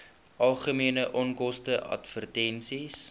algemene onkoste advertensies